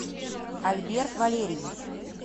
альберт валерьевич